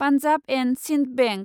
Punjab and Sind bank